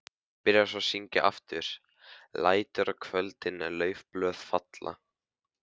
Byrjaði svo að syngja aftur: LÆTUR Á KVÖLDIN LAUFBLÖÐ FALLA.